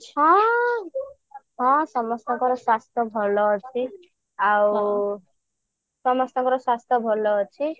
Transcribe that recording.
ହଁ ହଁ ସମସ୍ତଙ୍କର ସ୍ୱାସ୍ଥ୍ୟ ଭଲ ଅଛି ଆଉ ସମସ୍ତଙ୍କର ସ୍ୱାସ୍ଥ୍ୟ ଭଲ ଅଛି